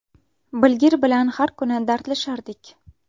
Bilgir bilan har kuni dardlashardik.